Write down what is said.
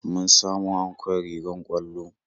Mun samo ankon rigar ƙwallo